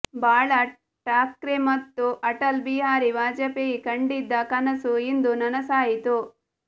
ಬಾಳಾ ಠಾಕ್ರೆ ಮತ್ತು ಅಟಲ್ ಬಿಹಾರಿ ವಾಜಪೇಯಿ ಕಂಡಿದ್ದ ಕನಸು ಇಂದು ನನಸಾಯಿತು